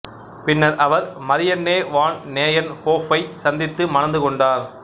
பின்னர் அவர் Marianne van நேயன்ஹோஃப்பைச் சந்தித்து மணந்து கொண்டார்